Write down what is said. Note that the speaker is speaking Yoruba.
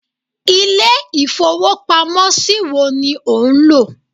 Ilé ìfowópamó ṣí wo ni ò nlò